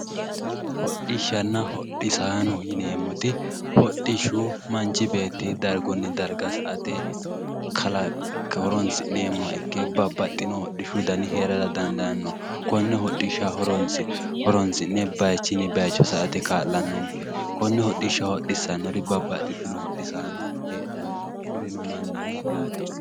hodhishshanna hodhisaanno yineemmoti hodhishshu manchi beeti dargunni darga sa'ate kalak horoonsi'neemmoha ikke babbaxewo dani heerara dandaanno konne hodhishsha horoonsi'ne dargunni baycho sa'ate kaa'lannnonke konne hodhishsha hodhissannori uminsa heedhanno kurino mannaho yaate